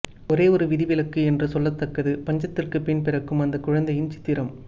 ஒரேஓரு விதிவிலக்கு என்று சொல்லத்தக்கத்து பஞ்சத்திற்குப்பின் பிறக்கும் அந்தக் குழந்தையின் சித்திரம்